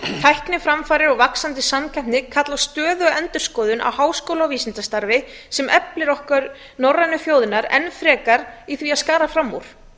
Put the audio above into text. tækniframfarir og vaxandi samkeppni kalla á stöðuga endurskoðun á háskóla og vísindastarfi sem eflir okkur norrænu þjóðirnar enn frekar í því að skara fram úr